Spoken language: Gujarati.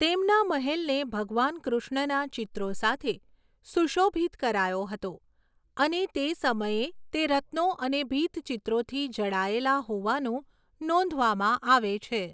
તેમના મહેલને ભગવાન કૃષ્ણના ચિત્રો સાથે સુશોભિત કરાયો હતો અને તે સમયે તે રત્નો અને ભીંતચિત્રોથી જડાયેલા હોવાનું નોંધવામાં આવે છે.